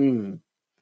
um